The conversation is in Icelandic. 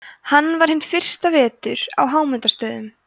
hann var hinn fyrsta vetur á hámundarstöðum